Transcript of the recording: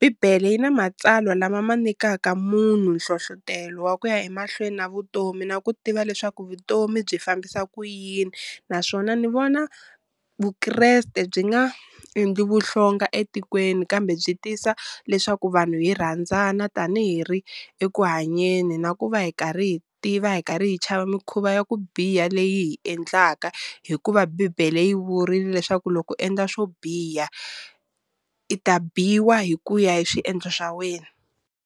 bibele yi na matsalwa lama ma nyikaka munhu nhlohlotelo wa ku ya emahlweni na vutomi na ku tiva leswaku vutomi byi fambisa ku yini, naswona ni vona Vukreste byi nga endli vuhlonga etikweni kambe byi tisa leswaku vanhu hi rhandzana tanihi ri eku hanyeni, na ku va hi karhi hi tiva hi karhi hi chava mikhuva ya ku biha leyi hi endlaka hikuva bibele yi vurile leswaku loko endla swo biha i ta biwa hi ku ya hi swiendlo swa wena.